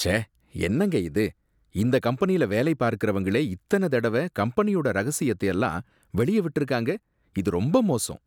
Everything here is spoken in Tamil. ச்சே! என்னங்க இது! இந்த கம்பெனில வேலை பார்க்கறவங்களே இத்தன தடவ கம்பெனியோட ரகசியத்த எல்லாம் வெளியே விட்டிருக்காங்க, இது ரொம்ப மோசம்